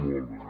molt bé